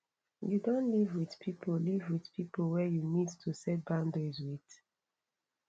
you don live with people live with people wey you need to set boundaries with